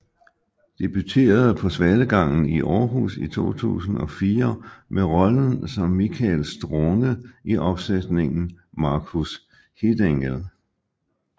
Debuterede på Svalegangen i Århus i 2004 med rollen som Michael Strunge i opsætningen Marcus Hitengel